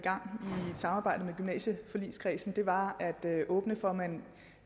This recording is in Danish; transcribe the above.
samarbejde med gymnasieforligskredsen var at åbne for